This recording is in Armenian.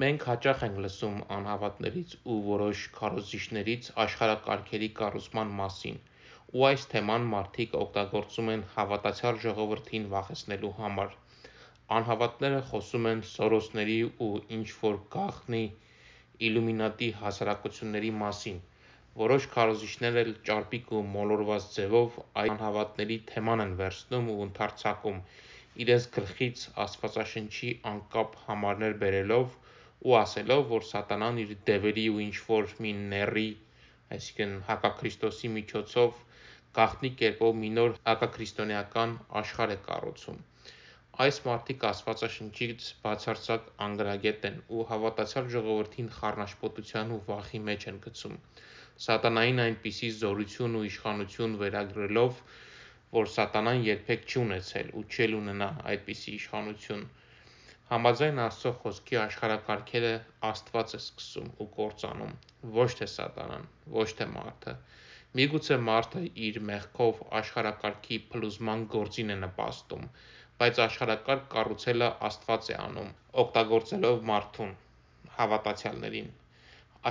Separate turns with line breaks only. Մենք հաճախ ենք լսում անհավատներից ու որոշ քարոզիչներից աշխարհակարգերի կառուցման մասին, ու այս թեման մարդիկ օգտագործում են հավատացյալ ժողովրդին վախեցնելու համար: Անհավատները խոսում են Սորոսների ու ինչ որ գաղտնի իլումինատի հասարակությունների մասին, որոշ քարոզիչներ էլ ճարպիկ ու մոլորված ձևով այդ անհավատների թեման են վերցնում ու ընդհարձակում, իրենց գլխից աստվածաշնչի անկապ համարներ բերելով ու ասելով որ Սատանան իր դևերի ու ինչ որ մի Նեռի՝ հակա քրիստոսի միջոցով գաղտնի կերպով մի նոր հակաքրիստոնեական աշխարհակարգ է կառուցում: Այս մարդիկ Աստվածաշնչից բացարձակ անգրագետ են ու հավատացյալ ժողովրդին խառնաշփոթության ու վախի մեջ են գցում, Սատանային այնպիսի զորություն ու իշխանություն ու կազմակերպվածություն վերագրելով որը Սատանան երբեք չի ունեցել ու չի էլ ունենա: Համաձայն Աստծո Խոսքի աշխարհակարգերը Աստված է սկսում ու կործանում, ոչ թէՍատանան, ոչ թէ մարդը: Միգուցե մարդը իր մեղքով աշխարհակարգի փլուզման գործին է նպաստում, բայց աշխարհակարգ կառուցելը Աստված է անում, օգտագործելով մարդուն, հավատացյալներին: